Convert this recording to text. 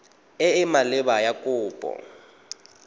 e e maleba ya kopo